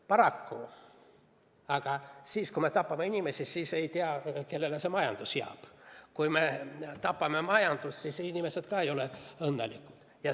Paraku on nii, et kui me tapame inimesi, siis ei tea, kellele see majandus jääb, ja kui me tapame majandust, siis ei ole inimesed õnnelikud.